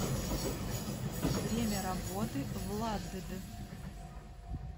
время работы владд